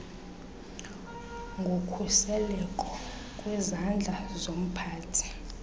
ngokhuseleko kwizandla zomphathi